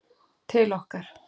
til okkar.